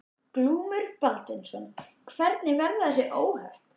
Glúmur Baldvinsson: Hvernig verða þessi óhöpp?